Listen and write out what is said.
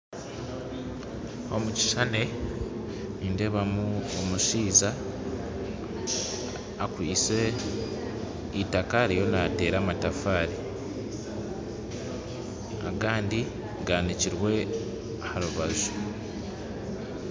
Omukishushani nindeebamu omushaija akwasire itaka ariyo naateera amatafaari agandi gaanikirwe aha rubaju.